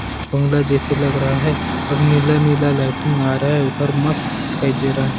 बंगला जैसे लग रहा है और नीला-नीला लाइटिंग आ रहा है उधर मस्त दिखाई दे रहा है ।